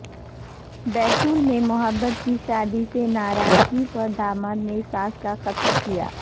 بیتول میں محبت کی شادی سے ناراضگی پر داماد نے ساس کا قتل کیا